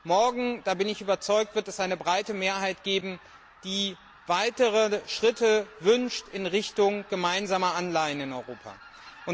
Morgen da bin ich überzeugt wird es eine breite Mehrheit geben, die weitere Schritte in Richtung gemeinsamer Anleihen in Europa wünscht.